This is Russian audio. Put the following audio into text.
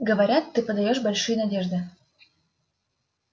говорят ты подаёшь большие надежды